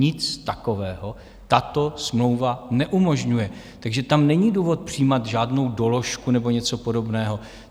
Nic takového tato smlouva neumožňuje, takže tam není důvod přijímat žádnou doložku nebo něco podobného.